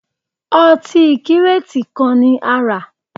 Ọtí kírètì kan ni a rà